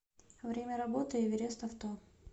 время работы эверест авто